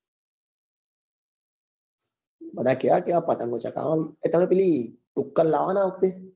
બધા કેવા કેવા પતંગ ચગાવે આમ અમે પેલી ઉક્કાલ લાવવા ના